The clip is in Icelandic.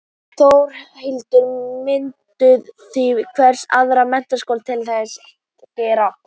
Þórhildur: Mynduð þið hvetja aðra menntaskóla til að gera það sama?